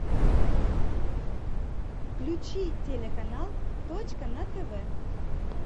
включи телеканал точка на тв